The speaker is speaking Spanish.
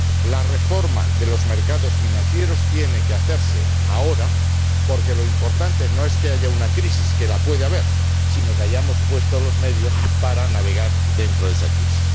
La reforma de los mercados financieros tiene que hacerse ahora, porque lo importante no es que haya una crisis que la puede haber sino que hayamos puesto los medios para navegar dentro de esa crisis.